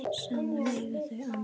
Saman eiga þau Amelíu Rós.